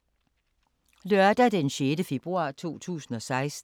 Lørdag d. 6. februar 2016